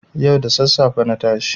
Yau da sassafe na tashi.